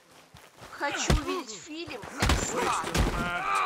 хочу увидеть фильм экспат